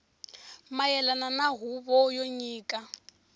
mayelana na huvo yo nyika